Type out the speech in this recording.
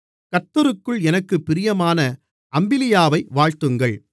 கர்த்தருக்குள் எனக்குப் பிரியமான அம்பிலியாவை வாழ்த்துங்கள்